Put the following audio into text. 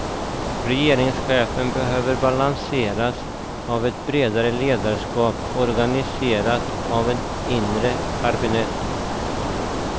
Regeringschefen behöver balanseras av ett bredare ledarskap organiserat i ett inre kabinett.